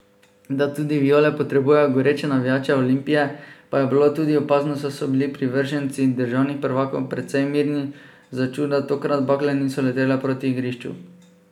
Da tudi viole potrebujejo goreče navijače Olimpije, pa je bilo tudi opazno, saj so bili privrženci državnih prvakov precej mirni, za čuda tokrat bakle niso letele proti igrišču.